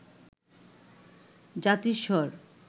জাতিস্বর